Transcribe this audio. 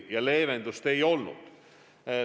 Varem seda leevendust ei olnud.